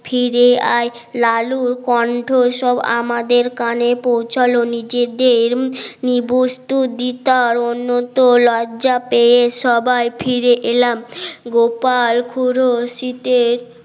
ফিরে আয় লালুর কন্ঠ সব আমাদের কানে পৌছালো নিজেরদের নিবস্তু দিতার অন্যত লজ্জা পেয়ে সবাই ফিরে এলামগোপালখুড়ো শীতের